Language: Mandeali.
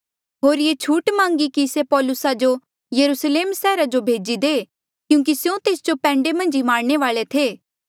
होर ये छूट मांगी कि से पौलुसा जो यरुस्लेम सैहरा जो भेजी दे क्यूंकि स्यों तेस जो पैंडे मन्झ ई मारणे वाले थे